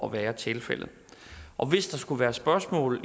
at være tilfældet og hvis der skulle være spørgsmål